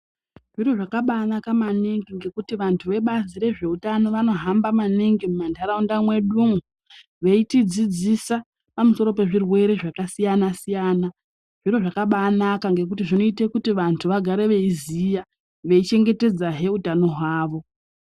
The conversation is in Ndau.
Zviro zvakananaka maningi ngekuti vantu vebazi rezveutano vanohamba maningi muntauraunda mwedumwo veitidzidzisa pamusoro pezvirwere zvakasiyana siyana zviro zvakabanaka ngekuti zvinoita kuti vantu vagare veiziya veichengetedzahe utano hwavo.